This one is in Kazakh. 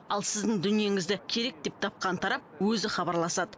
ал сіздің дүниеңізді керек деп тапқан тарап өзі хабарласады